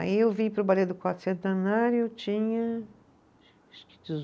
Aí eu vim para o, eu tinha acho que